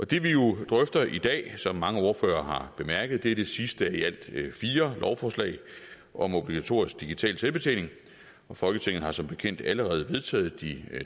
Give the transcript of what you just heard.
det vi jo drøfter i dag er som mange ordførere har bemærket det sidste af i alt fire lovforslag om obligatorisk digital selvbetjening folketinget har som bekendt allerede vedtaget de